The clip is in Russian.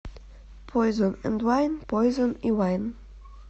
пойзон энд вайн пойзон и вайн